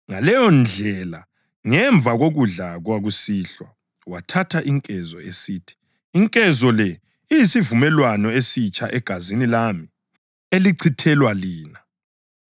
Ngaleyondlela, ngemva kokudla kwakusihlwa wathatha inkezo, esithi, “Inkezo le iyisivumelwano esitsha egazini lami, elichithelwa lina.